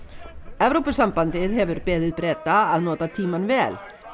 Evrópusambandið hefur beðið Breta að nota tímann vel